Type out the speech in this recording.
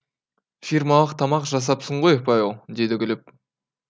фирмалық тамақ жасапсың ғой павел деді күліп